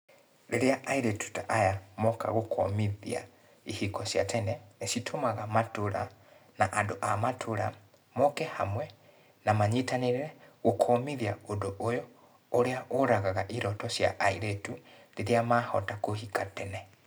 Rĩrĩa airĩtu ta aya moka gũkũmithia ihiko cia tene, nĩcitũmaga matũra, na andũ a matũra moke hamwe na manyitanĩre gũkũmithia ũndũ ũyũ, ũrĩa ũragaga iroto cia airĩtu rĩrĩa mahota kũhika tene.